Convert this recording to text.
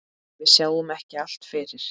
Við sjáum ekki allt fyrir.